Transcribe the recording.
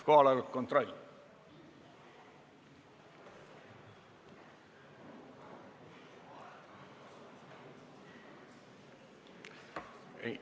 Kohaloleku kontroll.